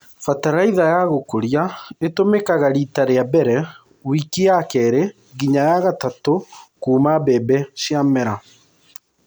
Bataraitha ya gũkũria itũmĩkaga rita rĩa mbere wiki ya keerĩ nginya ya gatatũ kuuma mbembe cia mera.